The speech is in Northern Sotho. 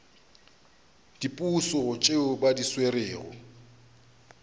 diposo tšeo ba di swerego